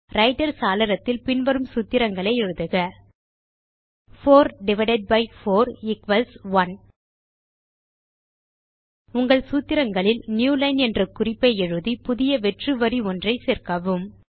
writer சாளரத்தில் பின் வரும் சூத்திரங்களை எழுதுக 4 4 1 உங்கள் சூத்திரங்களில் நியூலைன் என்ற குறிப்பை எழுதி புதிய வெற்று வரி ஒன்றை சேர்க்கவும்